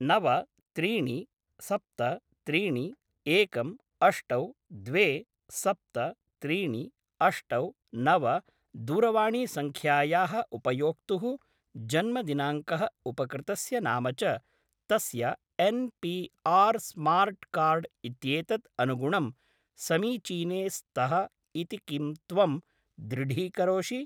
नव त्रीणि सप्त त्रीणि एकम् अष्टौ द्वे सप्त त्रीणि अष्टौ नव दूरवाणीसङ्ख्यायाः उपयोक्तुः जन्मदिनाङ्कः उपकृतस्य नाम च तस्य एन्.पी.आर्. स्मार्ट् कार्ड् इत्येतत् अनुगुणं समीचीने स्तः इति किम् त्वं दृढीकरोषि?